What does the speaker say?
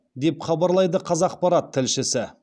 деп хабарлайды қазақпарат тілшісі